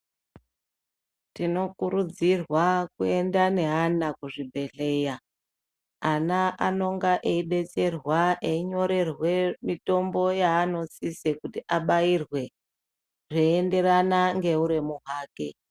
Tinokurudzirwa kuenda neana kuzvibhedhleya. Ana anenge eidetserwa einyorerwa mitombo yanosisa kuti abairwe zveienderana neuremu hwake.